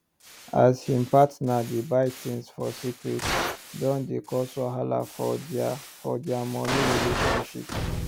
as him partner dey buy things for secrete don dey cause wahala for dia for dia money relationship